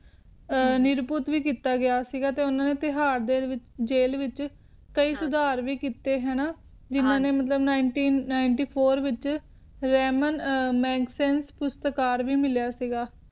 ਨਿਰਪੁਤ ਭੀ ਕਿੱਤਾ ਸੀ ਗਯਾ ਤੇ ਬਿਹਾਰ ਦੇ ਵਿਚ ਜੇਲ ਦੇ ਵਿਚ ਕਹਿ ਸੁਧਾਰ ਭੀ ਕਿੱਤੇ ਨਾ ਮਤਲਬ ਹਨ ਜੀ ਨਿਨਤੀਂ ਨਿਨੇਟੀ ਫ਼ੋਰ ਵਿਚ ਰੈਮਾਂ ਪੁਰਸਕਾਰ ਭੀ ਮਿਲੀਆਂ ਸੀ ਗਯਾ ਇ ਨਿਨੇਤ੍ਯ੍ਫ਼ੌਰ